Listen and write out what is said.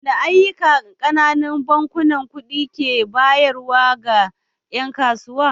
Waɗanne ayyuka ƙananun bankunan kuɗi ke bayarwa ga ƴan kasuwa?